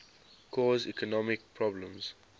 cause economic problems